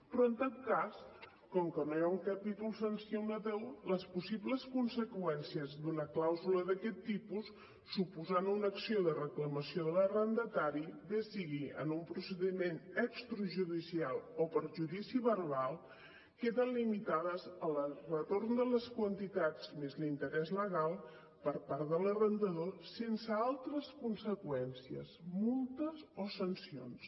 però en tot cas com que no hi ha un capítol sancionador les possibles conseqüències d’una clàusula d’aquest tipus suposant una acció de reclamació de l’arrendatari bé sigui en un procediment extrajudicial o per judici verbal queden limitades al retorn de les quantitats més l’interès legal per part de l’arrendador sense altres conseqüències multes o sancions